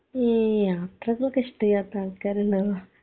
ഈ യാത്രകളൊക്കെ ഇഷ്ട്ടല്ലാത്ത ആൾക്കാരിണ്ടോ